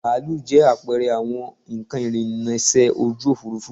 Bàálù jẹ́ àpẹẹrẹ àwọn nnkan ìrìnsẹ̀ ojú òfuurufú